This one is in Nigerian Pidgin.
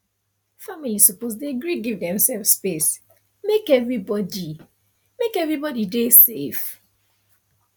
family suppose dey gree give demsef space make everybody make everybody dey safe